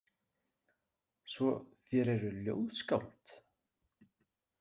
Svo þér eruð ljóðskáld?